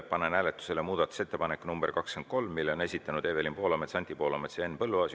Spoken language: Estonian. Panen hääletusele muudatusettepaneku nr 23, mille on esitanud Evelin Poolamets, Anti Poolamets ja Henn Põlluaas.